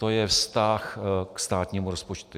To je vztah k státnímu rozpočtu.